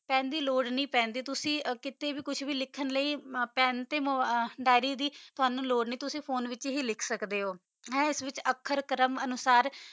ਪੇੰ ਦੀ ਲੋਰ ਨਹੀ ਪੈਂਦੀ ਤੁਸੀਂ ਕੀਤਾ ਵੀ ਕੁਛ ਵੀ ਲਿਖ ਦਿਆਰੀ ਤਾ ਪੇੰ ਦੀ ਲੋਰ ਨਹੀ ਪੈਂਦੀ ਤੁਸੀਂ ਫੋਨੇ ਵਾਤ੍ਚ ਹੀ ਲਿਖ ਸਕਦਾ ਓਹੋ ਆਖਰ ਕਰਮ ਅਨੋਸਰ